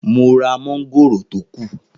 Mo ra mọ́ngòrò tó kù.